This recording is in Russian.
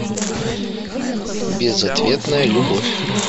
безответная любовь